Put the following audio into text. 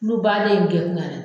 Kulo baaden in kɛ kun y'a la de